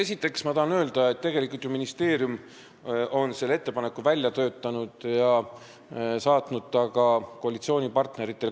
Esiteks tahan ma öelda, et tegelikult on ju ministeerium selle ettepaneku välja töötanud ja saatnud selle ka koalitsioonipartneritele.